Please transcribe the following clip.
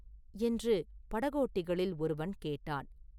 என்று படகோட்டிகளில் ஒருவன் கேட்டான்.